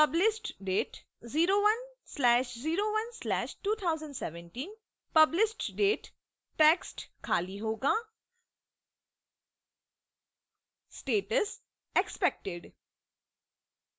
published date: 01/01/2017